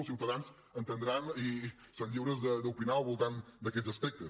els ciutadans entendran i són lliures d’opinar al voltant d’aquests aspectes